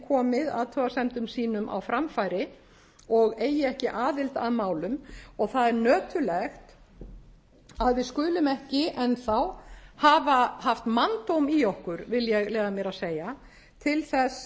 komið athugasemdum sínum á framfæri og eigi ekki aðild að málum og það er nöturlegt að við skulum ekki enn þá hafa haft manndóm í okkur vil ég leyfa mér að segja til þess